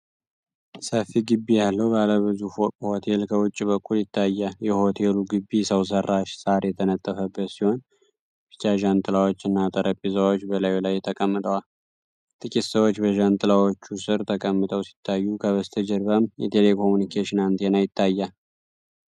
ሰፊ ግቢ ያለው ባለ ብዙ ፎቅ ሆቴል ከውጭ በኩል ይታያል። የሆቴሉ ግቢ ሰው ሠራሽ ሳር የተነጠፈበት ሲሆን፣ ቢጫ ዣንጥላዎችና ጠረጴዛዎች በላዩ ላይ ተቀምጠዋል። ጥቂት ሰዎች በዣንጥላዎቹ ስር ተቀምጠው ሲታዩ፣ ከበስተጀርባም የቴሌኮምዩኒኬሽን አንቴና ይታያል።